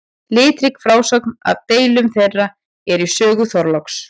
Litrík frásögn af deilum þeirra er í sögu Þorláks.